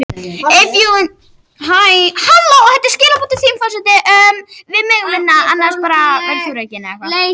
Þetta eru meðal þeirra spurninga leitast verður við að svara á námskeiðinu Undur ljóssins.